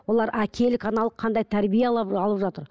олар әкелік аналық қандай тәрбие алып алып жатыр